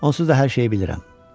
Onsuz da hər şeyi bilirəm.